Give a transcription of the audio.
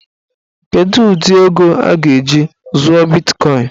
Kedụ ụdị ego a ga- eji zụọ bitkọin?